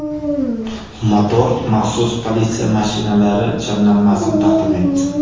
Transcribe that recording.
Motor maxsus politsiya mashinalari jamlanmasini taqdim etdi .